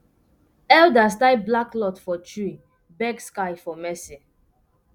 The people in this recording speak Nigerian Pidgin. elders tie black cloth for tree beg sky for mercy